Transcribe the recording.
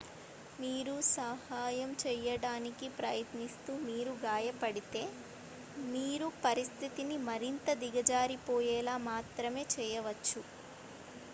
మీరు సహాయం చేయడానికి ప్రయత్నిస్తూ మీరు గాయపడితే మీరు పరిస్థితిని మరింత దిగజారిపోయేలా మాత్రమే చేయవచ్చు